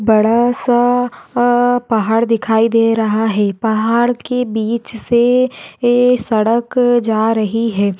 बड़ासा अ पहाड़ दिखाई दे रहा है पहाड़ के बीच से ये सड़क जा रही है।